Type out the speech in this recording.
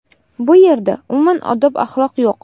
Bu yerda, umuman odob-axloq yo‘q.